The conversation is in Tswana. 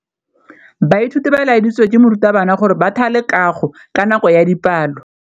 Baithuti ba laeditswe ke morutabana gore ba thale kagô ka nako ya dipalô.